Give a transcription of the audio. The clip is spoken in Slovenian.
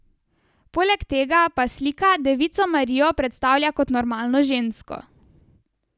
Poleg tega pa slika devico Marijo predstavlja kot normalno žensko.